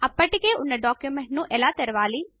అప్పటికే ఉన్న డాక్యుమెంట్ ను ఎలా తెరావలి